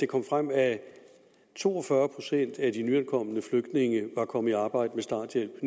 kom frem at to og fyrre procent af de nyankomne flygtninge var kommet i arbejde med starthjælp